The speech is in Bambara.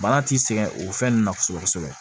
Bana t'i sɛgɛn o fɛn ninnu na kosɛbɛ kosɛbɛ